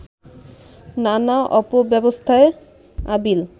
নানা অপব্যবস্থায় আবিল